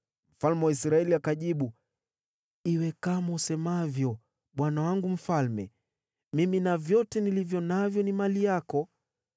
Mfalme wa Israeli akajibu, “Iwe kama usemavyo, bwana wangu mfalme. Mimi na vyote nilivyo navyo ni mali yako.”